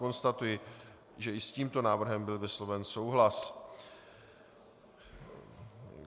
Konstatuji, že i s tímto návrhem byl vysloven souhlas.